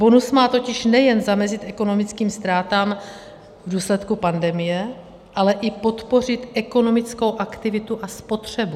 Bonus má totiž nejen zamezit ekonomickým ztrátám v důsledku pandemie, ale i podpořit ekonomickou aktivitu a spotřebu.